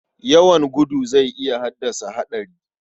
Yawan gudu zai iya haddasa haɗari.